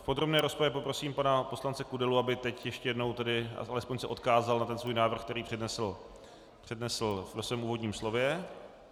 V podrobné rozpravě poprosím pana poslance Kudelu, aby teď ještě jednou nebo alespoň se odkázal na ten svůj návrh, který přednesl ve svém úvodním slově.